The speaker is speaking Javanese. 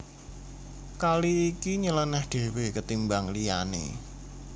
Kali iki nyelenèh dhéwé ketimbang liyané